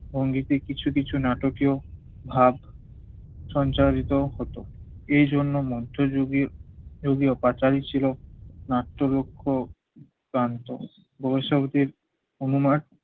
সঙ্গীতে কিছু কিছু নাটকেও ভাব সঞ্চারিত হত। এইজন্য মধ্যযুগে যোগীও পাঁচালী ছিল নাট্যরক্ষ প্রান্তর। অনুমান